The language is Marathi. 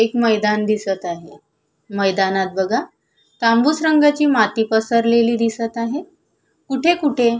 एक मैदान दिसत आहे मैदानात बघा तांबूस रंगाची माती पसरलेली दिसत आहे कुठे कुठे--